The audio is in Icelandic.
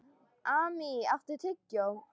Amý, áttu tyggjó?